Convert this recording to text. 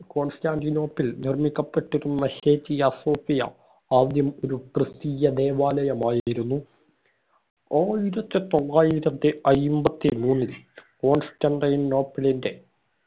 കോൺസ്റ്റാന്റിനോപ്പിൽ നിർമിക്കപ്പെട്ടിരുന്ന Hagia Sophia ആദ്യം ഒരു ക്രിസ്തീയ ദേവാലയമായിരുന്നു ആയിരത്തി തൊള്ളായിരത്തി അയ്മ്പത്തി മൂന്നിൽ കോൺസ്റ്റാന്റിനോപ്പിളിന്റെ